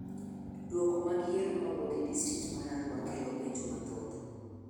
Duoko mag yiero mawuok e District mar Arua kelo penjo mathoth.